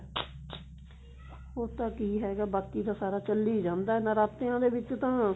ਹੋਰ ਤਾਂ ਕੀ ਹੈਗਾ ਬਾਕੀ ਤਾਂ ਸਾਰਾ ਚੱਲੀ ਜਾਂਦਾ ਨਰਾਤਿਆਂ ਦੇ ਵਿੱਚ ਤਾਂ